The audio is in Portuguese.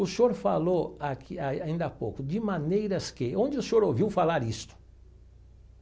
O senhor falou aqui ai ainda há pouco, de maneiras que, onde o senhor ouviu falar isto?